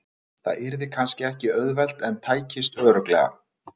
Það yrði kannski ekki auðvelt en tækist örugglega.